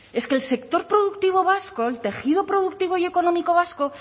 es que el sector productivo vasco el tejido productivo y económico vasco